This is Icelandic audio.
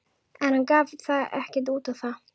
En hann gaf ekkert út á það.